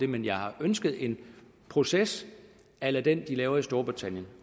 men jeg har ønsket en proces a la den de laver i storbritannien